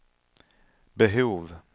behov